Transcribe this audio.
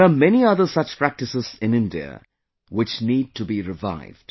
There are many other such practices in India, which need to be revived